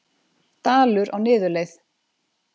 Dalur á niðurleið